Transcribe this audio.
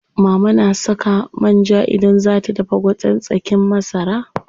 Mama na saka man ja idan zaa ta dafa gwaten tsakin masara.